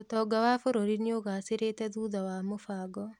ũtonga wa bũrũri nĩũgacĩrĩte thutha wa mũbango